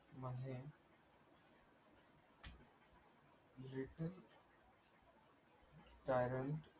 कारण